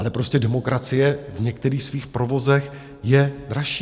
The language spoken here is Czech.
Ale prostě demokracie v některých svých provozech je dražší.